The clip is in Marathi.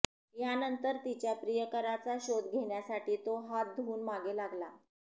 यानंतर तिच्या प्रियकाराचा शोध घेण्यासाठी तो हात धुवून मागे लागला